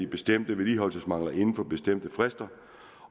bestemte vedligeholdelsesmangler inden for bestemte frister